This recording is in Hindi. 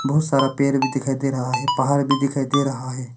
बहुत सारा पेड़ भी दिखाई दे रहा है पहाड़ भी दिखाई दे रहा है।